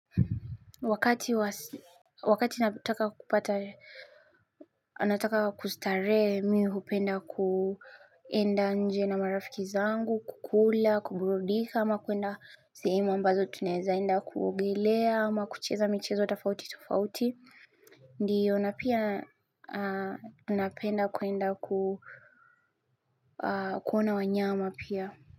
Wakati wasi wakati nataka kupata nataka kustarehe mimi hupenda kwenda nje na marafiki zangu kukula kuburudika ama kwenda sehemu ambazo tunawezaenda kuogelea ama kucheza michezo tofauti tofauti. Ndiyo napia napenda kwenda kuona wanyama pia.